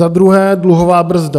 Za druhé - dluhová brzda.